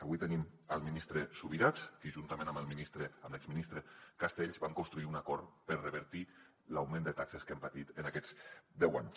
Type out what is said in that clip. avui tenim el ministre subirats que juntament amb l’exministre castells va construir un acord per revertir l’augment de taxes que hem patit en aquests deu anys